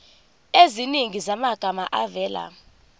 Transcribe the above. eziningi zamagama avela